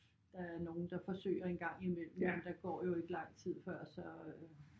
Der er nogle der forsøger en gang imellem men der går jo ikke lang tid før så